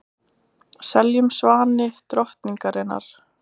Seljum svani drottningarinnar